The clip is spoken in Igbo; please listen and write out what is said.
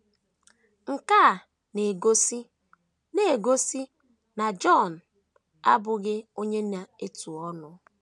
Nke a na - egosi na - egosi na Jọn abụghị onye na - etu ọnụ.